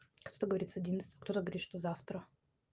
кто-то говорит с одиннадцати кто-то говорит что завтра